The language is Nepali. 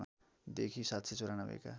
देखि ७९४ का